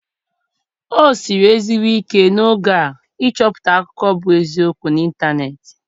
O siri ezigbo ike n'oge a ịchọpụta akụkọ bu eziokwu na ịntanetị.